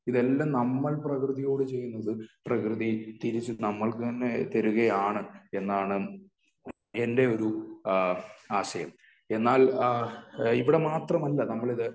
ഇതെല്ലാം നമ്മൾ പ്രകൃതിയോട് ചെയ്യുന്നത് പ്രകൃതി തിരിച്ച് നമ്മൾക്ക് തന്നെ തരികയാണ് എന്നാണ് എന്റെ ഒരു ആശയം. എന്നാൽ ഇവിടെ മാത്രമല്ല നമ്മൾ ഇത്